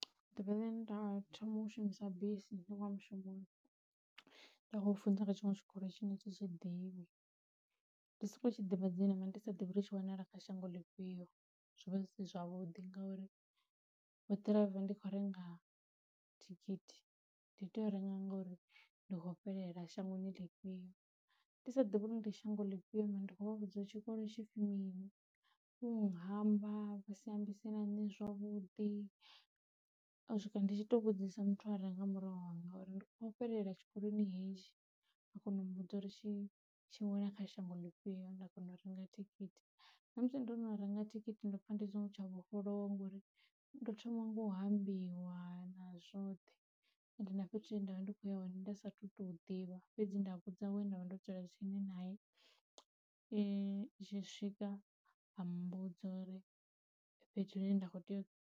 Ḓuvha ḽe nda thoma u shumisa bisi ndi kho uya mushumoni nda khou funza kha tshiṅwe tshikolo tshine a thi tshi ḓivhi, ndi soko tshi ḓivha dzina mara ndi sa divhi tshi wanala kha shango ḽifhio zwovha zwi si zwavhuḓi, ngauri vho ḓiraiva ndi kho renga thikhithi ndi tea u renga ngori ndi khou fhelela shangoni lifhio ndi sa ḓivhi uri ndi shango ḽi fhiyo mara ndi khou vhudza uri tshikolo tshipfi mini, vho hamba vha si ambise na nṋe zwavhuḓi, u swika ndi tshi to vhudzisa muthu a re nga murahu hanga uri ndi khou fhelela tshikoloni hetshi a kona u mbudza uri tshi tshi wela kha shango ḽifhio nda kona u renga thikhithi. Namusi ndo no renga thikhithi nda pfha ndi songo tsha vhofholowa ngori ndo thoma nga u hambiwa na zwoṱhe ende na fhethu hune ndavha ndi kho ya hone nda sathu to hu ḓivha fhedzi nda vhudza we nda vha ndo dzula tsini nae e tshi swika a mmbudza uri fhethu hune nda kho tea u.